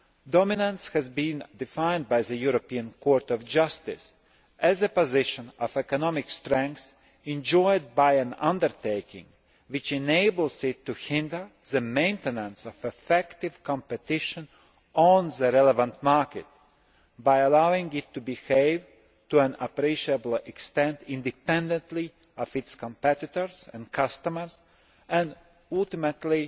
Dominance has been defined by the European Court of Justice as a position of economic strength enjoyed by an undertaking which enables it to hinder the maintenance of effective competition on the relevant market by allowing it to behave to an appreciable extent independently of its competitors and customers and ultimately,